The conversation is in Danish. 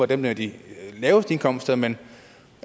dem med de laveste indkomster men